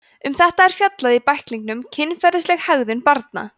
um þetta er fjallað í bæklingnum kynferðisleg hegðun barna